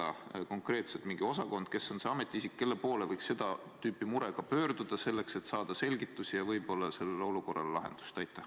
On see mingi konkreetne osakond või on see ametiisik, kelle poole võiks seda tüüpi murega pöörduda, et saada selgitusi ja võib-olla leida olukorrale lahendus?